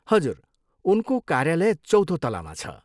हजुर, उनको कार्यालय चौथो तलामा छ।